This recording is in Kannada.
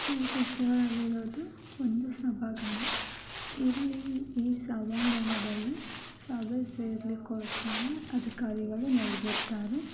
ಈ ಪಿಕ್ಚರ್ ರಲ್ಲಿ ಒಂದು ಸಭಾಂಗಣ ಇಲ್ಲಿ ಈ ಸಭಾಂಗಣದಲ್ಲಿ ಸಭೆ ಸೇರಳಿಕೊಸ್ಕರ ಅಧಿಕಾರಿಗಳು ನೆರದಿರ್ತಾರೆ.